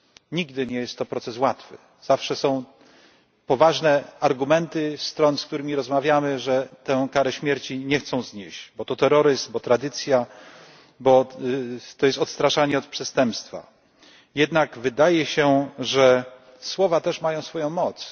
Nigdy nie jest to proces łatwy, zawsze są poważne argumenty stron, z którymi rozmawiamy, że tej kary śmierci nie chcą znieść bo to terroryzm, bo tradycja, bo to jest odstraszanie od przestępstwa. Jednak wydaje się, że słowa też mają swoją